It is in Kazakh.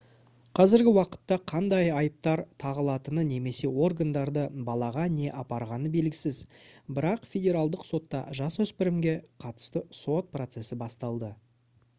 қазіргі уақытта қандай айыптар тағылатыны немесе органдарды балаға не апарғаны белгісіз бірақ федералдық сотта жасөспірімге қатысты сот процесі басталды